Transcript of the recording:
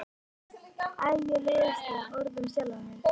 Æ mér leiðist það orð um sjálfa mig.